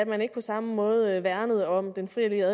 man ikke på samme måde værnede om den frie og